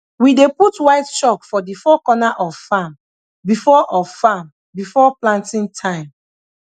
we dey put white chalk for the four corner of farm before of farm before planting time